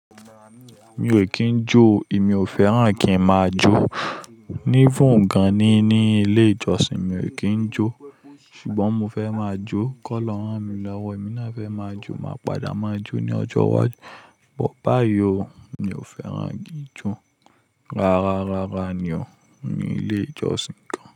Mi ò kín jó o, èmi ò fẹ́ràn kí ń máa jó. Even gan ní ní ilé ìjọsìn mi ò kí ń jó. Ṣùgbọ́n mo fẹ́ máa jó. Kọ́lọ́hun ràn mí lọ́wọ́. Èmi náà fẹ́ máa jó, màá padà máa jó ní ọjọ́ iwájú. Bo ba yiò, mi ò fẹ́ràn kí ń jó. Rárá, rárá ni ó, ní ilé ìjọsìn kan.